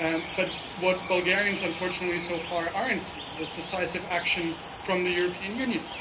But what Bulgarians unfortunately so far are not seeing is decisive action from the European Union.